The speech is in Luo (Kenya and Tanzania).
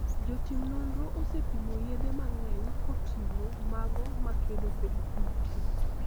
jotim nonro osepimo yedhe mang'eny koting'o mago makedo kod kute